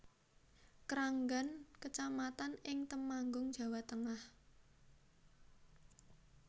Kranggan kecamatan ing Temanggung Jawa Tengah